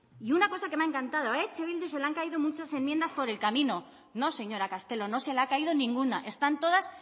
y una cosa que me ha encantado a eh bildu se le han caído muchas enmiendas por el camino no señora castelo no se le ha caído ninguna están todas